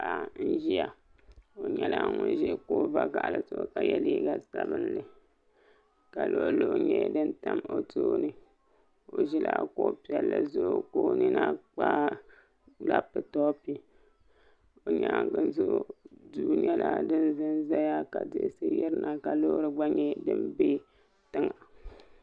Paɣi n ʒia o nyɛla ŋun ʒi kuɣu vakahili ka yɛ liiga sabinli ka luɣu luɣu nyɛ din tam o tooni o ʒila kuɣi piɛli zuɣu ka o nyina kpa laapitop o nyaanŋa zuɣu duri nyɛla din ʒɛnʒɛya ka diɣisi yiri na ka Loori gba nyɛ din bɛ tiŋa